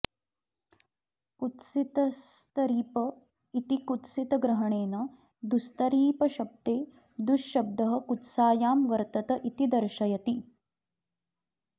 कुत्सितस्तरीप इति कुत्सितग्रहणेन दुस्तरीपशब्दे दुःशब्दः कुत्सायां वर्तत इति दर्शयति